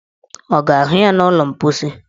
Ọ ga-ahụ ya n' ụlọ mposi?